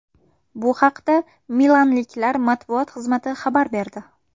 Bu haqda milanliklar matbuot xizmati xabar berdi .